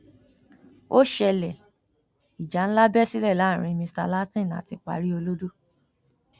ó ṣẹlẹ ìjà ńlá bẹ sílẹ láàrin mr látìn àti paríolọdọ